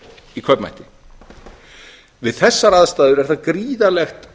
í kaupmætti við þessar aðstæður er það gríðarlegt